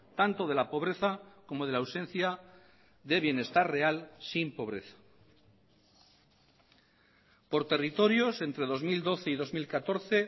tanto de la pobreza como de la ausencia de bienestar real sin pobreza por territorios entre dos mil doce y dos mil catorce